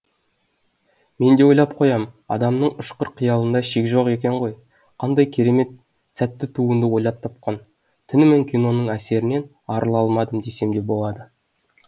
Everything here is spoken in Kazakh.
мен де ойлап қоям адамның ұшқыр қиялында шек жоқ екен ғой қандай кермет сәтті туынды ойлап тапқан түнімен киноның әсерінен арыла алмадым десем де болады